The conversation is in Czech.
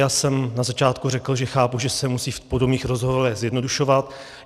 Já jsem na začátku řekl, že chápu, že se musí v podobných rozhovorech zjednodušovat.